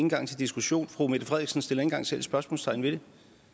en gang til diskussion fru mette frederiksen sætter ikke en gang selv spørgsmålstegn ved det